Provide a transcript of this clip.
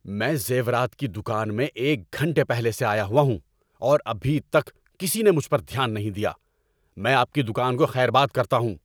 میں زیورات کی دکان میں ایک گھنٹے پہلے سے آیا ہوا ہوں اور ابھی تک کسی نے مجھ پر دھیان نہیں دیا۔ میں آپ کی دکان کو خیر باد کرتا ہوں۔